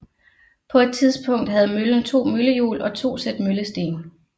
På et tidspunkt havde møllen to møllehjul og to sæt møllesten